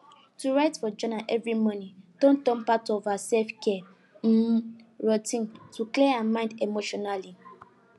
to write for journal every morning don turn part of her selfcare um routine to clear her mind emotionally